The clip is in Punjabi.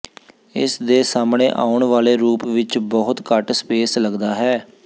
ਇਸ ਦੇ ਸਾਹਮਣੇ ਆਉਣ ਵਾਲੇ ਰੂਪ ਵਿੱਚ ਬਹੁਤ ਘੱਟ ਸਪੇਸ ਲਗਦਾ ਹੈ